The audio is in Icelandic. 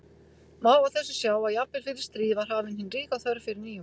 Má á þessu sjá að jafnvel fyrir stríð var hafin hin ríka þörf fyrir nýjungar.